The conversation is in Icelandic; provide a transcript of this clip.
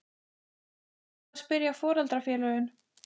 Er búið að spyrja foreldrafélögin?